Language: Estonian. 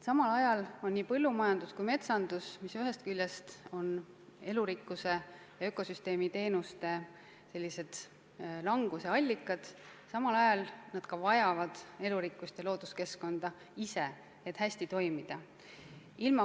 Samal ajal vajavad nii põllumajandus kui ka metsandus, mis ühest küljest on elurikkuse ja ökosüsteemi teenuste vähenemise allikad, hädasti elurikkust ja looduskeskkonda, et hästi toimida.